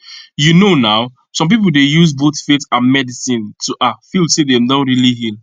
you know now some people dey use both faith and medicine to ah feel say dem don really heal